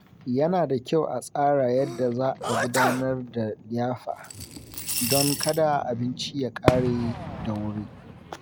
Yana da kyau a tsara yadda za a gudanar da liyafa, don kada abinci ya ƙare da wuri.